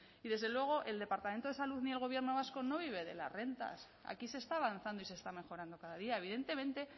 y desde luego el departamento de salud ni el gobierno vasco no vive de las rentas aquí se está avanzando y se está mejorando cada día evidentemente